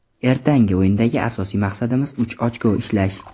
Ertangi o‘yindagi asosiy maqsadimiz uch ochko ishlash.